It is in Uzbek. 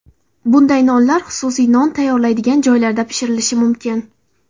Bunday nonlar xususiy non tayyorlanadigan joylarda pishirilishi mumkin.